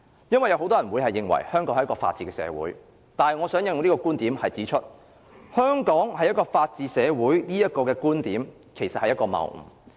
因為有很多人會認為香港是法治社會，但我想引用這觀點來指出，香港是法治社會這觀點其實是謬誤。